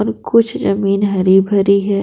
अब कुछ जमीन हरी भरी है।